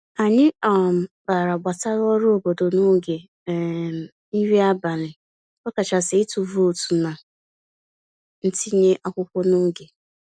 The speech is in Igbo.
Anyị um kpara gbasara ọrụ obodo n'oge um nri abalị, ọkachasị ịtụ vootu na ntinye akwụkwọ n'oge.